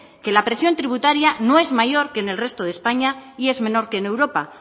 que la presión tributaria no es mayor que en el resto de españa y es menor que en europa